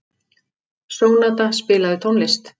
Sónata, spilaðu tónlist.